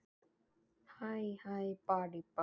það er að segja ef þú hefur ekkert á móti því.